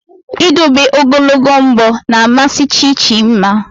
Ịdobe ogologo mbọ na amasị Chi Chi mma